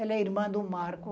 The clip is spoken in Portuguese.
Ela é irmã do Marco.